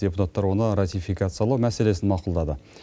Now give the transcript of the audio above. депутаттар оны ратификациялау мәселесін мақұлдады